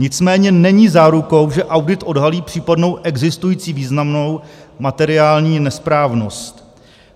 Nicméně není zárukou, že audit odhalí případnou existující významnou materiální nesprávnost.